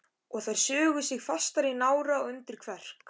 Og þær sugu sig fastar í nára og undir kverk.